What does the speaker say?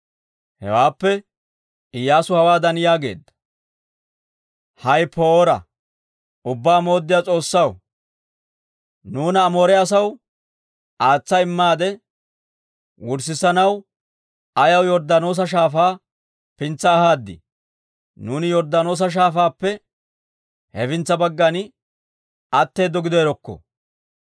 Hewaappe, Iyyaasu hawaadan yaageedda; «hay poora! Ubbaa Mooddiyaa S'oossaw, nuuna Amoore asaw aatsa immaade wurssissanaw ayaw Yorddaanoosa Shaafaa pintsa ahaad? Nuuni Yorddaanoosa Shaafaappe hefintsa baggan atteedo gideerokko!